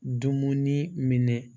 Dumuni minɛ